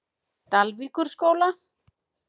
Dalvíkurskóla